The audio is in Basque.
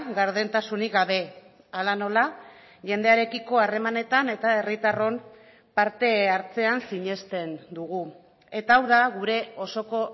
gardentasunik gabe hala nola jendearekiko harremanetan eta herritarron parte hartzean sinesten dugu eta hau da gure osoko